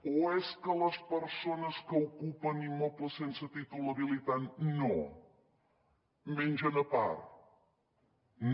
o és que les persones que ocupen immobles sense títol habilitant no mengen a part no